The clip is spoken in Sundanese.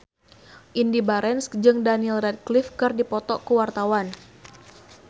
Indy Barens jeung Daniel Radcliffe keur dipoto ku wartawan